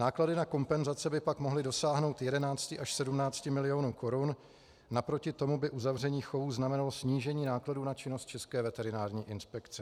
Náklady na kompenzace by pak mohly dosáhnout 11 až 17 milionů korun, naproti tomu by uzavření chovů znamenalo snížení nákladů na činnost České veterinární inspekce.